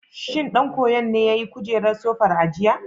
Shin ɗan koyon ne ya yi kujerar sofar a jiya?